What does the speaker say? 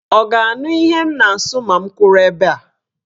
Ọ ga-anụ ihe m na-asụ ma m kwụrụ ebe a?